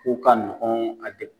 K'o ka nɔgɔn a de